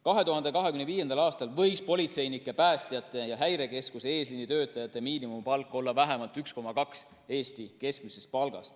2025. aastal võiks politseinike, päästjate ja Häirekeskuse eesliinitöötajate miinimumpalk olla vähemalt 1,2 Eesti keskmist palka.